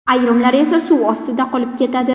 Ayrimlari esa suv ostida qolib ketadi.